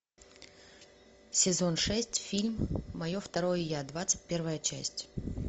сезон шесть фильм мое второе я двадцать первая часть